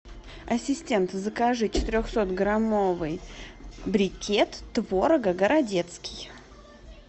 ассистент закажи четырехсотграммовый брикет творога городецкий